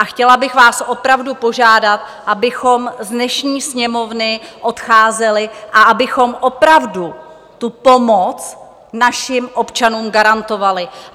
A chtěla bych vás opravdu požádat, abychom z dnešní sněmovny odcházeli a abychom opravdu tu pomoc našim občanům garantovali.